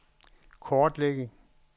kortlægge